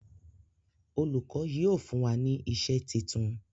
Olùkó yíò fún wá ní iṣé títún.